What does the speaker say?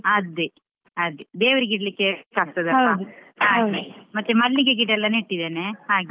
ಅದೇ ದೇವರಿಗೆ ಇಡ್ಲಿಕ್ಕೆ use ಆಗ್ತದಲ್ವಾ . ಮತ್ತೆ ಮಲ್ಲಿಗೆ ಗಿಡ ಎಲ್ಲಾ ನೆಟ್ಟಿದ್ದೇನೆ ಹಾಗೆ.